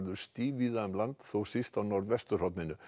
stíf víða um land þó síst á norðvesturhorninu